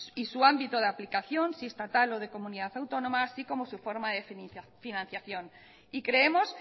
y su ámbito de aplicación si estatal o de comunidad autónoma así como su forma de financiación y creemos